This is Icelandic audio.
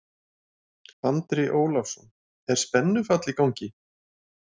Andri Ólafsson: Er spennufall í gangi?